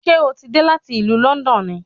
Ṣé ó ti dé láti ìlú Lọ́ndọ̀n ni